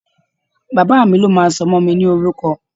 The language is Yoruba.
Bàbá mi ló máa sọmọ mi ní orúkọ